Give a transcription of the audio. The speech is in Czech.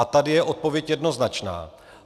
A tady je odpověď jednoznačná.